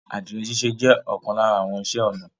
Adirẹ̀ síṣẹ̀ jẹ̀ ọkan lárà àwọn ìṣẹ̀ onà